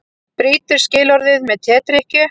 Brýtur skilorðið með tedrykkju